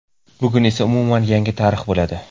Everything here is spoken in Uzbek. Bugun esa umuman yangi tarix bo‘ladi.